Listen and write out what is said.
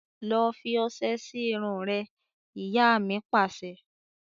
Lọ fi ọsẹ sì irun rẹ! Ìyá mi Pàṣẹ.